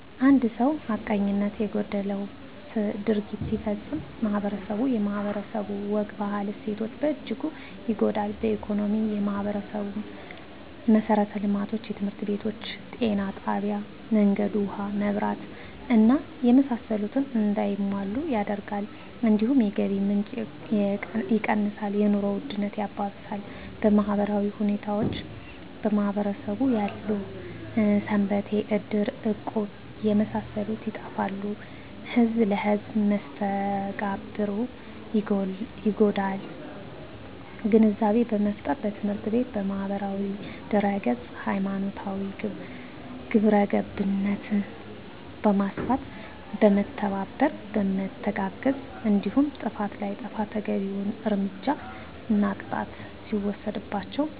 አንድ ሰው ሀቀኝነት የጎደለው ድርጊት ሲፈፀም ማህበረስቡ የማህበረሰቡ ወግ ባህል እሴቶች በእጅጉ ይጎዳል በኢኮኖሚ የማህበረሰቡን መሠረተ ልማቶች( ትምህርት ቤቶች ጤና ጣቢያ መንገድ ውሀ መብራት እና የመሳሰሉት) እንዳይሟሉ ያደርጋል እንዲሁም የገቢ ምንጭ የቀንሳል የኑሮ ውድነት ያባብሳል በማህበራዊ ሁኔታዎች በማህበረሰቡ ያሉ ሰንበቴ እድር እቁብ የመሳሰሉት ይጠፋሉ ህዝብ ለህዝም መስተጋብሩ ይጎዳል ግንዛቤ በመፍጠር በትምህርት ቤት በማህበራዊ ድህረገፅ ሀይማኖታዊ ግብረገብነት በማስፋት በመተባበርና በመተጋገዝ እንዲሁም ጥፍት ላጠፉት ተገቢዉን እርምጃና ቅጣት ሲወሰድባቸው